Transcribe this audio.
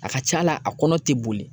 A ka c'a la a kɔnɔ tɛ boli